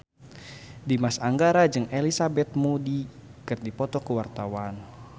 Dimas Anggara jeung Elizabeth Moody keur dipoto ku wartawan